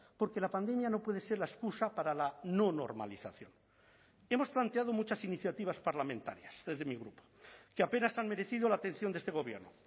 porque la pandemia no puede ser la excusa para la no normalización hemos planteado muchas iniciativas parlamentarias desde mi grupo que apenas han merecido la atención de este gobierno